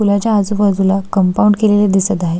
पुलाच्या आजुबाजुला कंपाऊंड केलेल दिसत आहे.